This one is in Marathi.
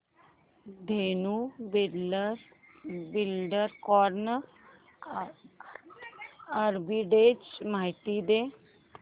धेनु बिल्डकॉन आर्बिट्रेज माहिती दे